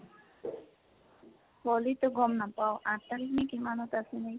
হʼলিটো গ'ম নাপাও, আঠ তাৰিখনে কিমানত আছে নে